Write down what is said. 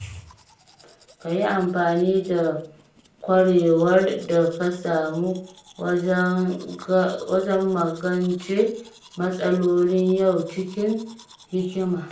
Ka yi amfani da ƙwarewar da ka samu wajen magance matsalolin yau cikin hikima.